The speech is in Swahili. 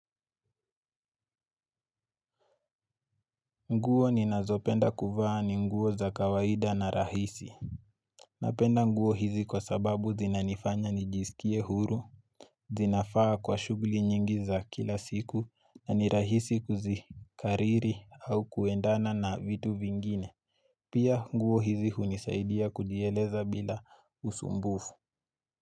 Nguo ninazopenda kuvaa ni nguo za kawaida na rahisi. Napenda nguo hizi kwa sababu zinanifanya nijisikie huru. Zinafaa kwa shuguli nyingi za kila siku na ni rahisi kuzikariri au kuendana na vitu vingine. Pia nguo hizi hunisaidia kujieleza bila usumbufu.